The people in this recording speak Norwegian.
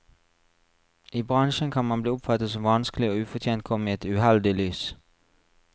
I bransjen kan man bli oppfattet som vanskelig og ufortjent komme i et uheldig lys.